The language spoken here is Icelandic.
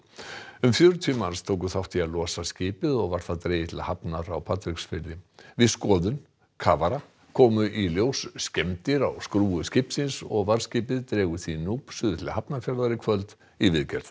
um fjörutíu manns tóku þátt í að losa skipið og var það dregið til hafnar á Patreksfirði við skoðun kafara komu í ljós skemmdir á skrúfu skipsins og varðskipið dregur því núp suður til Hafnarfjarðar í kvöld í viðgerð